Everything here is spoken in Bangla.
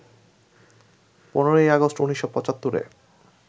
১৫ আগস্ট ১৯৭৫-এ